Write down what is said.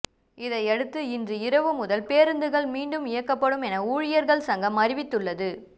இதையடுத்து இன்று இரவு முதல் பேருந்துகள் மீண்டும் இயக்கப்படும் என ஊழியர்கள் சங்கம் அறிவித்துள்ளது